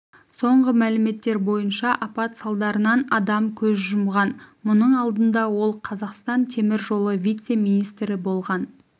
соңғы мәліметтер бойынша апат салдарынан адам көз жұмған мұның алдында ол қазақстан темір жолы вице-министрі болған